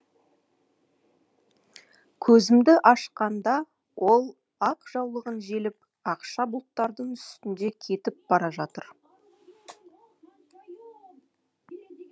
көзімді ашқанда ол ақ жаулығын желпіп ақша бұлттардың үстінде кетіп бара жатыр